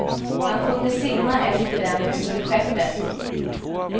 Han kunde simma efter dem ut till skeppet.